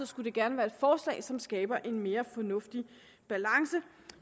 skulle det gerne være et forslag som skaber en mere fornuftig balance